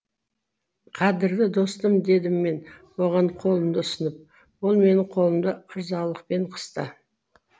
қадірлі достым дедім мен оған қолымды ұсынып ол менің қолымды ырзалықпен қысты